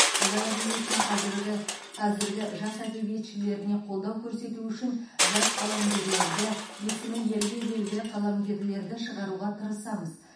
қазақ әдебиетінің қазіргі қазіргі жас әдебиетшілеріне қолдау көрсету үшін жас қаламгерлерді есімі елге белгілі қаламгерлерді шығаруға тырысамыз